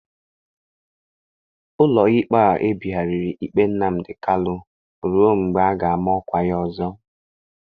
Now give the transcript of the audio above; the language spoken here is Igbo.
Ụlọikpe a ebigharịrị ikpe Nnamdi Kalu ruo mgbe a ga-ama ọkwa ọzọ.